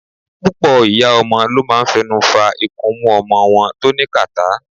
Púpọ̀ ìyá ọmọ ló máa ń fẹnu fa ikunmú ọmọ wọn tó ní kàtá.